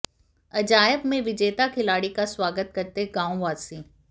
अजायब में विजेता खिलाड़ी का स्वागत करते गांव वासी